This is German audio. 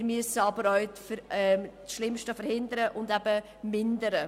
Wir müssen aber auch das Schlimmste verhindern und eben mindern.